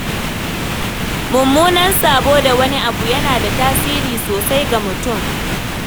Mummunan sabo da wani abu yana da tasiri sosai ga mutum.